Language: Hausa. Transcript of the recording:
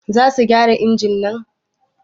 Za su gyara injimin?